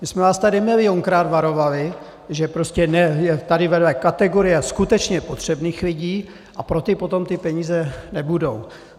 My jsme vás tady milionkrát varovali, že prostě je tady vedle kategorie skutečně potřebných lidí a pro ty potom ty peníze nebudou.